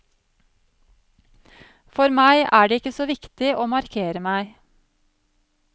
For meg er det ikke så viktig å markere meg.